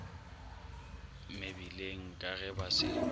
mebileng ka ge ba se